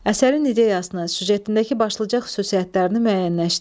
Əsərin ideyasının, süjetindəki başlıca xüsusiyyətlərini müəyyənləşdirin.